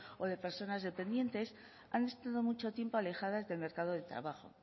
o de personas dependientes han estado mucho tiempo alejadas del mercado de trabajo